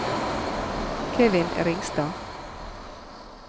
Kevin Ringstad